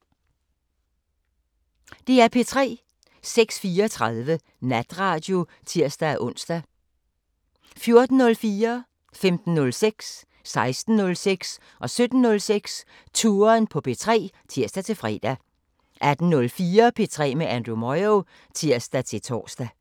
06:34: Natradio (tir-ons) 14:04: Touren på P3 (tir-fre) 15:06: Touren på P3 (tir-fre) 16:06: Touren på P3 (tir-fre) 17:06: Touren på P3 (tir-fre) 18:04: P3 med Andrew Moyo (tir-tor)